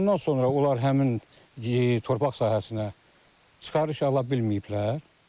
Ondan sonra onlar həmin torpaq sahəsinə çıxarış ala bilməyiblər.